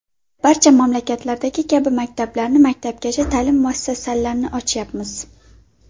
Barcha mamlakatlardagi kabi maktablarni, maktabgacha ta’lim muassasalarini ochyapmiz.